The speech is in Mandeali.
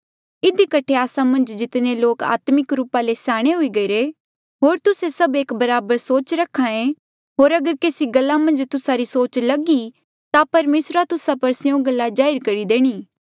इधी कठे आस्सा मन्झ जितने लोक आत्मिक रूपा ले स्याणे हुई गईरे होर तुस्से सभ एक बराबर सोच रखा होर अगर केसी गल्ला मन्झ तुस्सा री सोच लग ई ता परमेसरा तुस्सा पर स्यों गल्ला जाहिर करी देणी